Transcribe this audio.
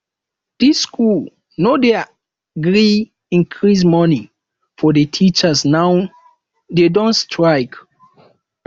dis school no dey gree increase money for the teachers now dey don strike